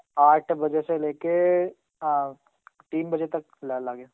আট Hindi তিন Hindi লা~ লাগে.